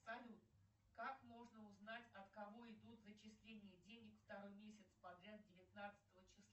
салют как можно узнать от кого идут зачисления денег второй месяц подряд девятнадцатого числа